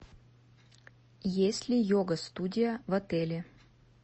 есть ли йога студия в отеле